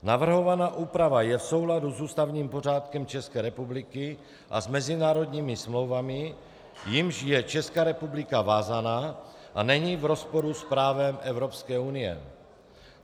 Navrhovaná úprava je v souladu s ústavním pořádkem České republiky a s mezinárodními smlouvami, jimiž je Česká republika vázána, a není v rozporu s právem Evropské unie.